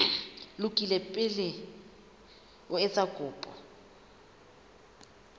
lokile pele o etsa kopo